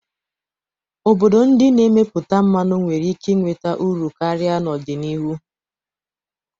Obodo ndị na-emepụta mmanụ nwere ike nweta uru karịa n'ọdịnihu.